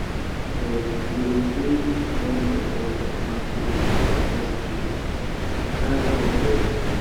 sometimes we go dey sing turn by turn as we dey pour compost tea for dry crop beds.